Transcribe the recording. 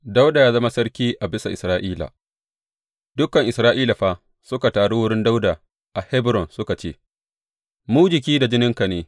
Dawuda ya zama sarki a bisa Isra’ila Dukan Isra’ila fa suka taru wurin Dawuda a Hebron suka ce, Mu jiki da jininka ne.